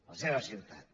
la seva ciutat